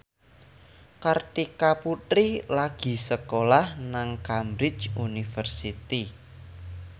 Kartika Putri lagi sekolah nang Cambridge University